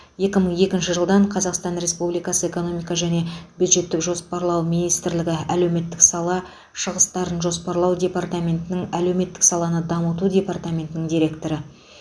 екі мың екінші жылдан қазақстан республикасы экономика және бюджеттік жоспарлау министрлігі әлеуметтік сала шығыстарын жоспарлау департаментінің әлеуметтік саланы дамыту департаментінің директоры